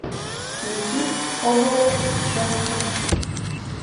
включи хобо джонсон